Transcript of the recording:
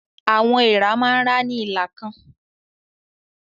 Àwọn èèrà máa ń rá ní ìlà kan.